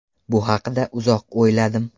Bu haqda uzoq o‘yladim.